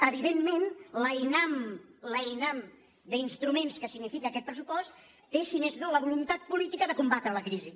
evidentment l’einam l’einam d’instru·ments que significa aquest pressupost té si més no la voluntat política de combatre la crisi